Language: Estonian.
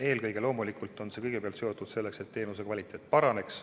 Eelkõige aga on loomulikult eesmärk, et teenuste kvaliteet paraneks.